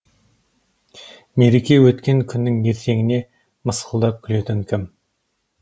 мереке өткен күннің ертеңіне мысқылдап күлетін кім